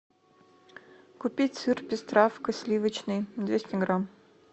купить сыр пестравка сливочный двести грамм